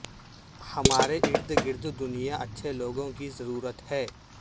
ہمارے ارد گرد دنیا اچھے لوگوں کی ضرورت ہے